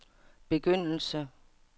begyndelse